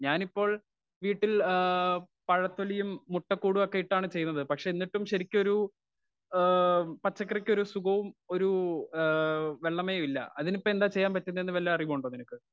Speaker 1 ഞാൻ ഇപ്പോൾ വീട്ടിൽ ആ പഴത്തൊലിയും മുട്ടക്കൂടുമൊക്കെയിട്ടാണ് ചെയ്തത് പക്ഷെ എന്നിട്ടും ശരിക്കൊരു ആ പച്ചക്കറിക്കൊരു സുഖവും ഒരു ആ വെള്ളമയവും ഇല്ല അതിനിപ്പന്താ ചെയ്യാൻ പറ്റുനേന്നു വല്ല അറിവും ഉണ്ടോ നിനക്ക് ?